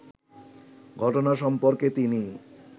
ঘটনা সম্পর্কে তিনি